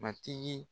Matigi